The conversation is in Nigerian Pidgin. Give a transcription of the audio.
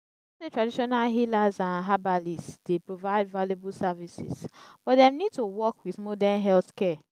i know say traditional healers and herbalists dey provide valuable services but dem need to work with modern healthcare.